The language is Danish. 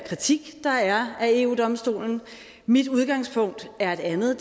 kritik der er af eu domstolen mit udgangspunkt er et andet